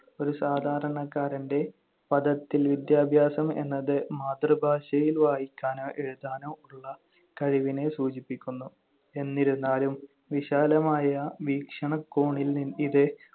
ഒരു സാധാരണക്കാരന്‍റെ പദത്തിൽ വിദ്യാഭ്യാസം എന്നത് മാതൃഭാഷയിൽ വായിക്കാനോ എഴുതാനോ ഉള്ള കഴിവിനെ സൂചിപ്പിക്കുന്നു. എന്നിരുന്നാലും വിശാലമായ വീക്ഷണകോണിൽ ഇത്